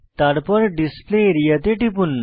তারপর display area তে টিপুন